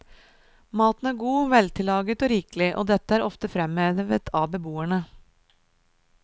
Maten er god, veltillaget og rikelig, og dette er ofte fremhevet av beboerne.